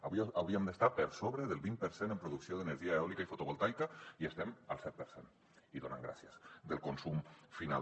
avui hauríem d’estar per sobre del vint per cent en producció d’energia eòlica i fotovoltaica i estem al set per cent i donant gràcies del consum final